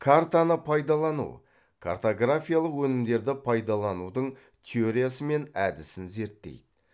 картаны пайдалану картографиялық өнімдерді пайдаланудың теориясы мен әдісін зерттейді